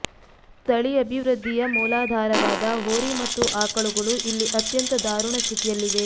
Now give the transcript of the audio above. ತಳಿ ಅಭಿವೃದ್ಧಿಯ ಮೂಲಾಧಾರವಾದ ಹೋರಿ ಮತ್ತು ಆಕಳುಗಳು ಇಲ್ಲಿ ಅತ್ಯಂತ ದಾರುಣ ಸ್ಥಿತಿಯಲ್ಲಿವೆ